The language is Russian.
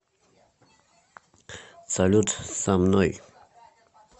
салют со мной